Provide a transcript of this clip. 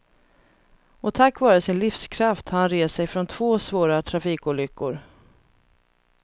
Och tack vare sin livskraft har han rest sig från två svåra trafikolyckor.